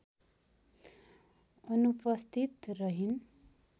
अनुपस्थित रहिन्